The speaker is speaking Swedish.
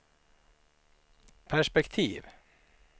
perspektiv